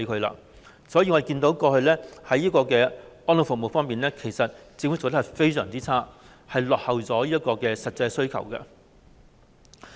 因此，我們看到政府過去在安老服務方面做得非常差，落後於實際需求。